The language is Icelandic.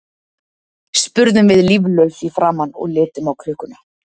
spurðum við líflaus í framan og litum á klukkuna.